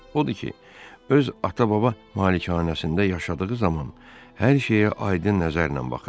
Odur ki, öz ata-baba malikanəsində yaşadığı zaman hər şeyə aydın nəzərlə baxırdı.